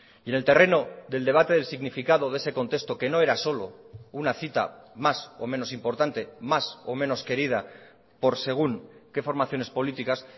y en el terreno del debate del significado de ese contexto que no era solo una cita más o menos importante más o menos querida por según qué formaciones políticas